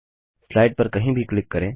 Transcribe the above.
slide पर कहीं भी क्लिक करें